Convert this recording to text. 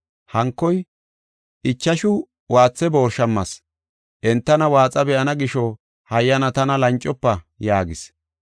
Hankoy, ‘Ichashu waatha boori shammas; entana waaxa be7ana gisho hayyana tana lancofa’ yaagis.